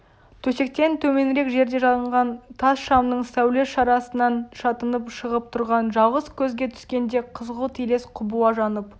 төсектен төменірек жерде жанған тас шамның сәулес шарасынан шатынап шығып тұрған жалғыз көзге түскенде қызғылт елес құбыла жанып